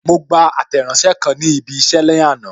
Mo gba Àtẹ̀ránsẹ́ kan ni ibi isẹ ní àná.